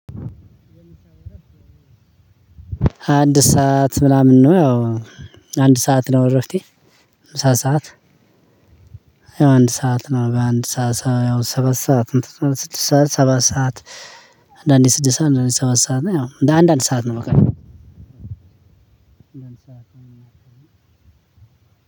አንድ ሰዓት ምናምን ነው ያው አንድ ሰዓት ነው እረፍቴ ምሳ ሰዓት። አንድ ሰዓት ነው በአንድ ሰዓት ሰባት ሰዓት ስድስት ሰዓት ሰባት ሰዓት አንዳንዴ ስድስት ሰዓት አንዳንዴ ሰባት ሰዓት ነው። ያው አንዳንድ ሰዓት ነው በቀን